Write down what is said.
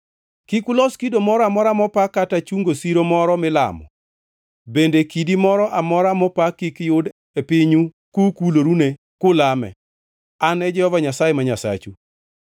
Kik ulos kido moro amora mopa kata chungo siro moro milamo bende kidi moro amora mopa kik yud e pinyu kukulorune kulame. An e Jehova Nyasaye ma Nyasachu.